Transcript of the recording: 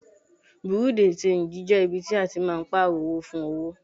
Bùréú dì ṣenjì jẹ́ ibi tí a máa ń Pààrọ̀ owó fún owó